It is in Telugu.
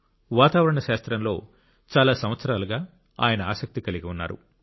వాతావరణ శాస్త్రంలో చాలా సంవత్సరాలుగా ఆయన ఆసక్తి కలిగి ఉన్నారు